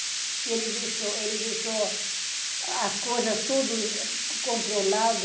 Porque ele deixou, ele deixou, as coisas tudo controlado.